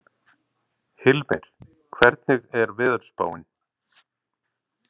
Hilmir, hvernig er veðurspáin?